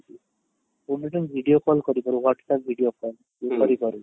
କୁ video call କରିପାରୁ whats APP video call କରି ପାରୁ